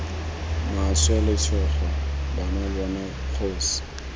maswe letshogo bona bona kgosi